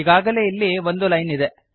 ಈಗಾಗಲೇ ಇಲ್ಲಿ ಒಂದು ಲೈನ್ ಇದೆ